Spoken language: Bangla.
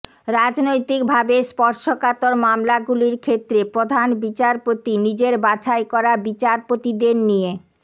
রাজনৈতিক ভাবে স্পর্শকাতর মামলাগুলির ক্ষেত্রে প্রধান বিচারপতি নিজের বাছাই করা বিচারপতিদের নিয়ে